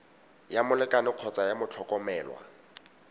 ya molekane kgotsa ya motlhokomelwa